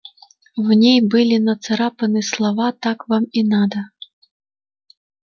в ней были нацарапаны слова так вам и надо